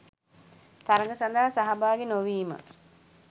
තරග සඳහා සහභාගී නොවීම